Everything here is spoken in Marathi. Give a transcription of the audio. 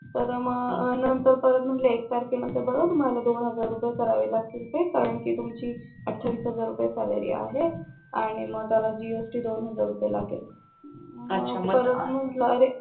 तर मग नंतर परत म्हणले एक तारखे नांतर तुम्हाला दोनहजार करावे लागतील कारण कि तुमची अठावीस हजार रुपये सॅलरी आहे आणि मग त्याला जीएसटी दोनहजार रुपये लागेल मग परत म्हंटल अरे